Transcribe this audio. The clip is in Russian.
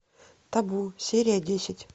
табу серия десять